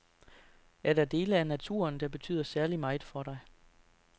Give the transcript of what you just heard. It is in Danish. Er der dele af naturen, der betyder særligt meget for dig?